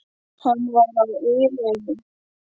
Hann var á einn veg.